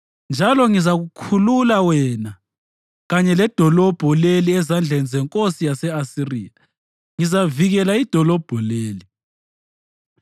Njalo ngizakukhulula wena, kanye ledolobho leli ezandleni zenkosi yase-Asiriya. Ngizavikela idolobho leli.